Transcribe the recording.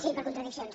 sí per contradiccions